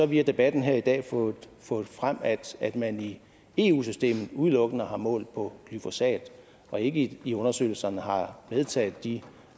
via debatten her i dag fået fået frem at man i eu systemet udelukkende har målt på glyfosat og ikke i undersøgelserne har medtaget de